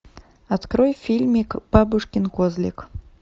открой фильмик бабушкин козлик